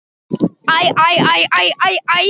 Sterk andleg upplifun óumflýjanleg